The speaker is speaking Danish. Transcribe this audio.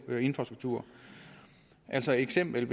infrastruktur altså et eksempel